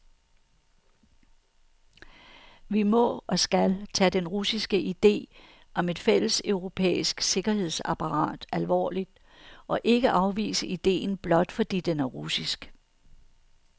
Vi må, og skal, tage den russiske ide om et fælleseuropæisk sikkerhedsapparat alvorlig, og ikke afvise idéen blot fordi den er russisk.